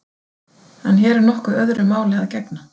En hér er nokkuð öðru máli að gegna.